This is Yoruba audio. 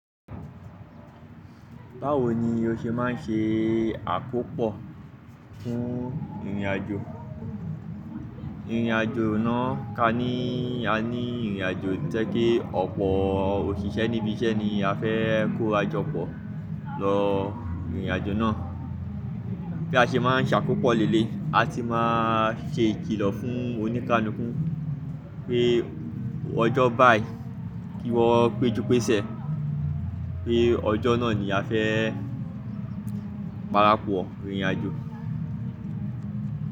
Báwo ni o ṣe máa ń ṣe àkópọ fún ìrìnàjò? Ìrìnàjò náà ká ní a ní ìrìnàjò tí ẹ kí ọ̀pọ̀ òṣìṣẹ́ níbi iṣẹ́ ni a fẹ́ kó ra jọ pọ̀ lọ ìrìnàjò náà. Bí a ṣe máa ń ṣe àkópọ̀ lèléyi, a ti máa ṣe ìkìlọ̀ fún oníkáànukun pé ọjọ́ báyìí kí wọ́n péjú pésẹ̀ pé ọjọ́ náà ni a fẹ́ parapọ̀ ìrìnàjò.